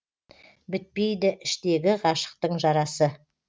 бітпейді іштегі ғашықтың жарасы